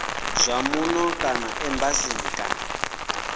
zwa muno kana embasini kana